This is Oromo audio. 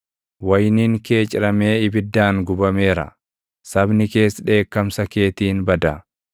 Wayiniin kee ciramee ibiddaan gubameera; sabni kees dheekkamsa keetiin bada.